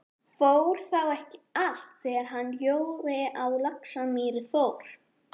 Fór þá ekki allt, þegar hann Jói á Laxamýri fór?